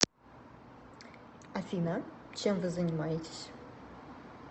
афина чем вы занимаетесь